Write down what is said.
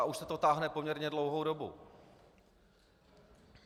A už se to táhne poměrně dlouhou dobu.